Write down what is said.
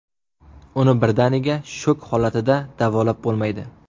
Uni birdaniga shok holatida davolab bo‘lmaydi.